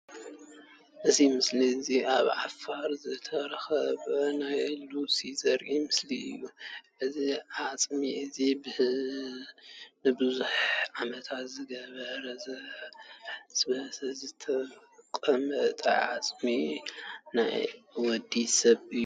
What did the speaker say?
እዚ ምስል እዚ ኣብ ዓፋር ዝተረከበ ናይ ሉሲ ዘርኢ ምስሊ እዩ። እዚ ዓፅሚ እዚ ንቡዙሕ ዓመታት ዝገበረ ዘይበስበሰ ዝተቀመጠ ዓፅሚ ናይ ወዲ ሰብ እዩ።